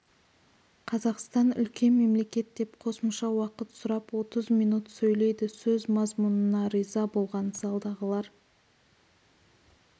қазақстан үлкен мемлекет деп қосымша уақыт сұрап отыз минут сөйлейді сөз мазмұнына риза болған залдағылар